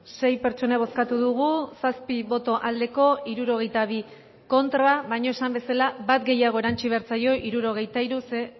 sei eman dugu bozka hirurogeita hamar eman dugu bozka zazpi boto